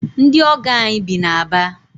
Ndị ọgọ anyị bi na Aba.